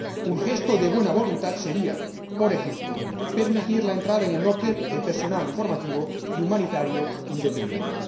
Un gesto de buena voluntad sería, por ejemplo, permitir la entrada en el norte de personal informativo y humanitario independiente.